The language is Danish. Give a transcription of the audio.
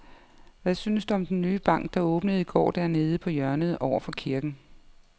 Hvad synes du om den nye bank, der åbnede i går dernede på hjørnet over for kirken?